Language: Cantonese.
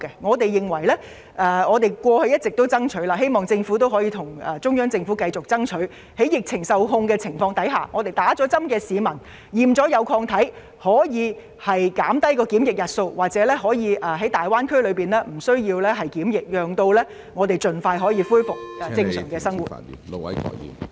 我們過去一直向中央政府爭取，希望政府亦會繼續向中央政府爭取，倘若疫情受控，容許接種疫苗後經檢驗證實有抗體的市民在前往大灣區時減少檢疫日數甚或無須檢疫，好讓市民盡快恢復正常生活。